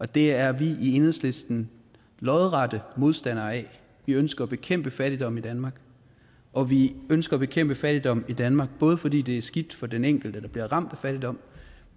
det er vi i enhedslisten arge modstander af vi ønsker at bekæmpe fattigdom i danmark og vi ønsker at bekæmpe fattigdom i danmark både fordi det er skidt for den enkelte der bliver ramt af fattigdom